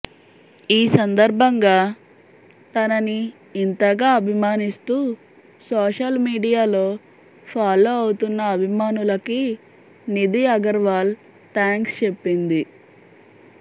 ఈ సందర్భంగా తనని ఇంతగా అభిమానిస్తూ సోషల్ మీడియాలో ఫాలో అవుతున్న అభిమానులకి నిధి అగర్వాల్ థాంక్స్ చెప్పింది